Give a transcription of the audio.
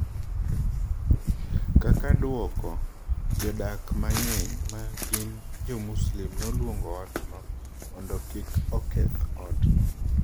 Kaka dwoko, jodak mang’eny ma gin Jo-Muslim noluongo otno mondo kik oketh otno.